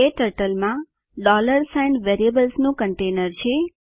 ક્ટર્ટલ માં સાઇન વેરિયેબલ્સનું કન્ટેનર છે